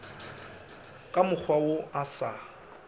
ka mokgwa wo o sa